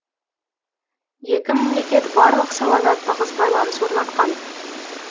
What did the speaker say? екі мемлекет барлық салада тығыз байланыс орнатқан